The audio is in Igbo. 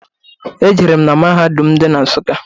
E jerem na mahadum dị na Nsukka.